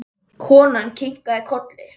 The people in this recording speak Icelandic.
Konan kinkaði kolli.